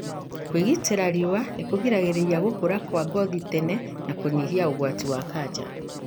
Kwĩgita riua nĩkũgiragĩrĩria gũkura kwa ngothi tene na kũnyihia ũgwati wa kanja.